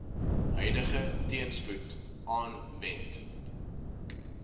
huidige teenspoed aanwend